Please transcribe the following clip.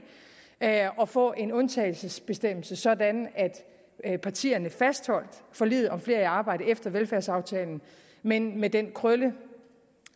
at få en undtagelsesbestemmelse sådan at partierne fastholdt forliget om flere i arbejde efter velfærdsaftalen men med den krølle